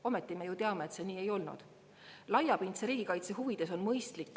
Ometi me ju teame, et see nii ei olnud.